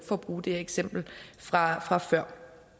at bruge det eksempel fra fra før